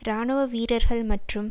இராணுவ வீரர்கள் மற்றும்